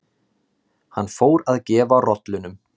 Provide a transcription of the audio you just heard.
Hann fór að gefa rollunum